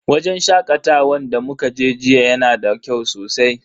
Wajen shakatawan da muka je jiya yana da kyau sosai.